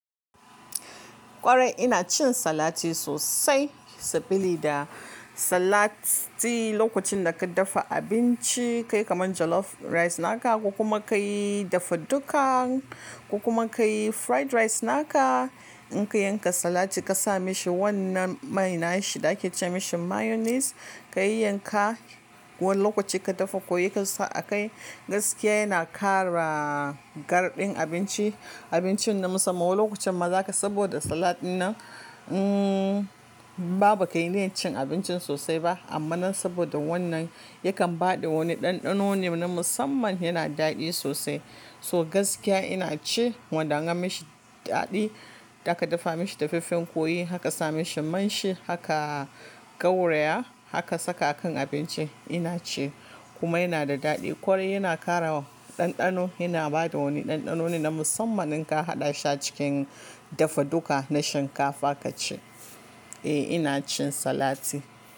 Kwarai ina cin salati sosai, sabili da salati lokacin da ka dafa abinci kai kaman jollof rice naka, ko kuma kai dafa duka. Ko kuma kai fried rice naka, in ka yanka salati ka sa mishi wannan mai na shi da ake ce mishi mayonnaise, ka yayyanka wani lokaci ka dafa kwai ka sa a kai, gaskiya yana kara. Garɗin abinci, abincin na musamman, wano lokacin ma za ka saboda salat ɗin nan. In ma ba kai niyyan cin abincin sosai ba, amma nan saboda wannan yakan ba da wani ɗanɗano ne na musamman yana daɗi sosai. To gaskiya ina ci, wanda an yi mashi daɗi, da aka dafa mashi dafaffen kwai aka ka sa mishi man shi aka gauraya, aka saka a kan abincin ina ci kuma yana da daɗi. Kwarai yana ƙara ɗanɗano, yana ba da wani ɗanɗano ne na musamman in ka haɗa shi a cikin dafaduka na shinkafa ka ci. Eh ina cin salati.